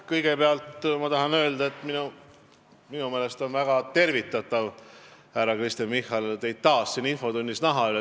Kõigepealt ma tahan öelda, et minu meelest on väga tervitatav teid, härra Kristen Michal, taas siin infotunnis näha.